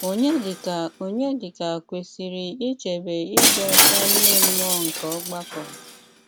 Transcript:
Ọnyédíkà Ọnyédíkà kwesírè íchébè ídị́ ọ́chá ímé mmùọ́ nké ọ́gbàkọ́.